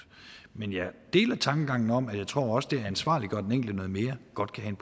men jeg deler tankegangen om og jeg tror også at det at ansvarliggøre den enkelte noget mere godt kan